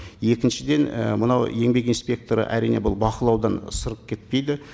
екіншіден і мынау еңбек инспекторы әрине бұл бақылаудан сырып кетпейді